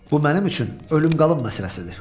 Bu mənim üçün ölüm-qalım məsələsidir.